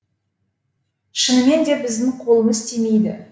шынымен де біздің қолымыз тимейді